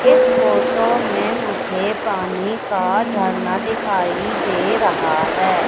इस फोटो में मुझे पानी का झरना दिखाई दे रहा है।